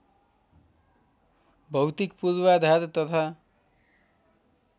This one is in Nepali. भौतिक पूर्वाधार तथा